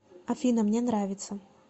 афина мне нравится